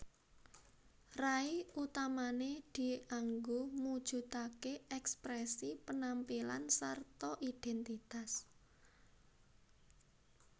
Rai utamané dianggo mujudaké èksprèsi penampilan sarta idhèntitas